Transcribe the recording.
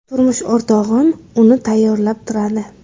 Turmush o‘rtog‘im uni tayyorlab turadi.